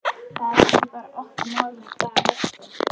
Það er bara ekki okkar mál með hvaða hætti